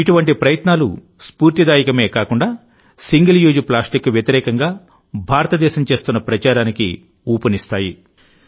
ఇటువంటి ప్రయత్నాలు స్ఫూర్తిదాయకమే కాకుండాసింగిల్ యూజ్ ప్లాస్టిక్కు వ్యతిరేకంగా భారతదేశం చేస్తున్న ప్రచారానికి ఊపునిస్తాయి